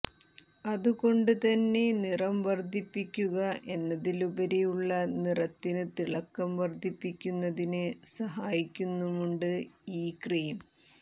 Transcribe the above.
അതുകൊണ്ട് തന്നെ നിറം വർദ്ധിപ്പിക്കുക എന്നതിലുപരി ഉള്ള നിറത്തിന് തിളക്കം വര്ദ്ധിപ്പിക്കുന്നതിന് സഹായിക്കുന്നുണ്ട് ഈ ക്രീം